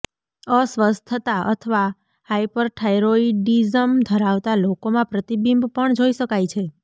અસ્વસ્થતા અથવા હાઈપરથાઇરોઇડિઝમ ધરાવતા લોકોમાં પ્રતિબિંબ પણ જોઇ શકાય છે